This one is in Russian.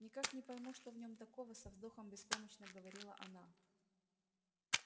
никак не пойму что в нём такого со вздохом беспомощно говорила она